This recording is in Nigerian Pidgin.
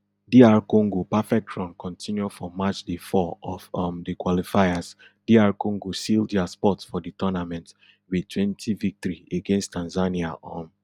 dr congo perfect run continue for match day four of um di qualifiers dr congo seal dia spot for di tournament wit twenty victory against tanzania um